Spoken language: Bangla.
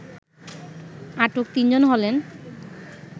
আটক তিন জন হলেন